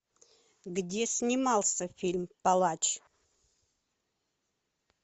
где снимался фильм палач